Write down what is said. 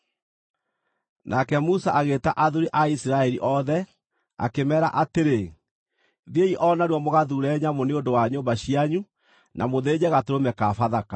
Nake Musa agĩĩta athuuri a Isiraeli othe, akĩmeera atĩrĩ, “Thiĩi o narua mũgathuure nyamũ nĩ ũndũ wa nyũmba cianyu na mũthĩnje gatũrũme ka Bathaka.